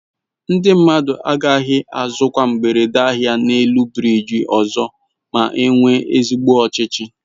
Ndi mmadu agaghi azukwa mgbere ahia n'elu biriji ọzọ ma enwe ezigbo ọchịchị